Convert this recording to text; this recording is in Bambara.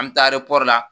An bɛ taa la